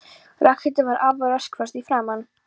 Ragnhildur var afar rökföst í framan.